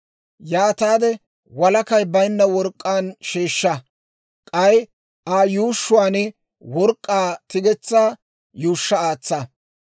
Yaataade walakay baynna work'k'aan sheeshsha; k'ay Aa yuushshuwaan work'k'aa tigetsaa yuushsha aatsa.